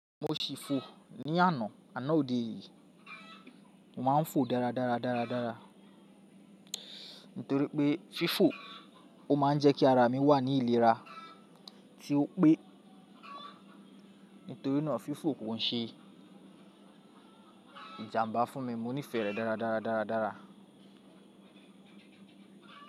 Mo ṣì fò ní àná, àná òde yìí. Mo máa ń fò dáradára dáradára. Nítorí pé fífò ó má ń jẹ́ kí ara mi wà ní ìlera. Tí ó pé nítorínà fífò kò ń ṣe ìjàmbá fún mi. Mo nífẹ̀ẹ́ rẹ̀ dáradára dáradára.